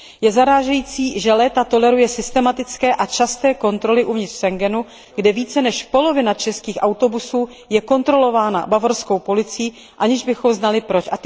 Je zarážející, že léta toleruje systematické a časté kontroly uvnitř Schengenu, kde více než polovina českých autobusů je kontrolována bavorskou policií, aniž bychom věděli proč.